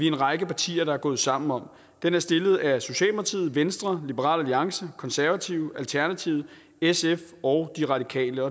en række partier der er gået sammen om det er stillet af socialdemokratiet venstre liberal alliance konservative alternativet sf og de radikale